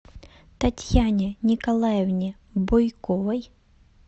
татьяне николаевне бойковой